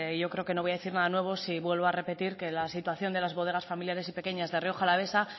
yo creo que no voy a decir nada nuevo si vuelvo a repetir que la situación de las bodegas familiares y pequeñas de rioja alavesa